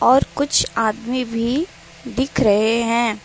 और कुछ आदमी भी दिख रहे हैं।